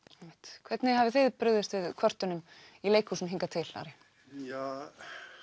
einmitt hvernig hafið þið brugðist við kvörtunum í leikhúsunum Ari ja